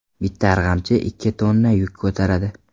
Bitta arg‘amchi ikki tonna yuk ko‘taradi.